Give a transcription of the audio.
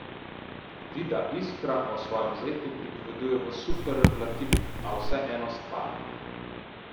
Vida Iskra o svojem zetu pripoveduje v superlativih, a vseeno stvarno.